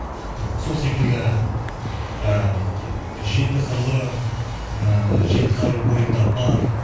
сол секілді ы жеті қырлы ы жеті қару бойында бар